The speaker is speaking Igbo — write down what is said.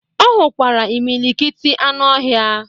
Ọ hụkwara imilikiti anụ ọhịa.